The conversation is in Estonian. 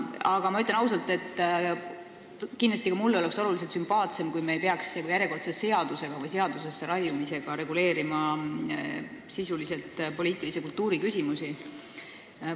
Aga ma ütlen ausalt, et kindlasti oleks ka mulle oluliselt sümpaatsem, kui me ei peaks järjekordselt millegi seadusesse raiumisega reguleerima sisuliselt poliitilise kultuuri küsimusi.